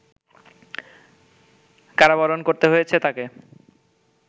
কারাবরণ করতে হয়েছে তাকে